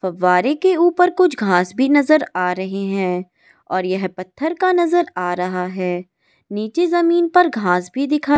फव्वारे के ऊपर कुछ घास भी नजर आ रही है और यह पत्थर का नजर आ रहा है निचे जमीन पर घास भी दिखा --